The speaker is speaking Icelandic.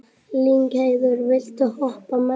Lyngheiður, viltu hoppa með mér?